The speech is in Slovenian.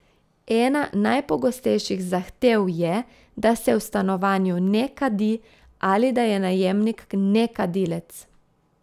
Ena najpogostejših zahtev je, da se v stanovanju ne kadi ali da je najemnik nekadilec.